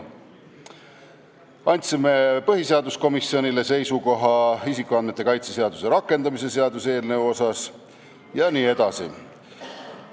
Me andsime põhiseaduskomisjonile ka seisukoha isikuandmete kaitse seaduse rakendamise seaduse eelnõu kohta jne.